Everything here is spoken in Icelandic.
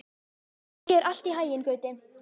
Gangi þér allt í haginn, Gauti.